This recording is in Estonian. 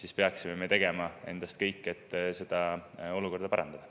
Me peaksime tegema kõik, et seda olukorda parandada.